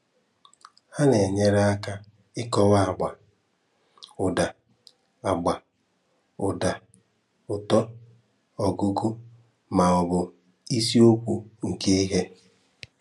Ha na-enyere aka ịkọwa agba, ụda, agba, ụda, ụtọ, ọgụgụ, ma ọ bụ isi okwu nke ihe.